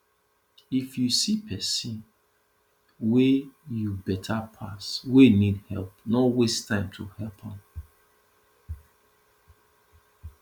if you see pesin wey you beta pass wey need help no waste time to help am